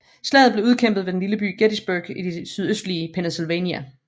Slaget blev udkæmpet ved den lille by Gettysburg i det sydøstlige Pennsylvania